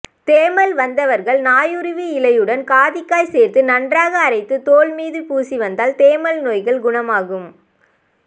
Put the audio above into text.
தேமல் வந்தவர்கள் நாயுருவி இலையுடன் காதிக்காய் சேர்த்து நன்றாக அரைத்து தோல்மீது பூசி வந்தால் தேமல் நோய்கள் குணமாகும்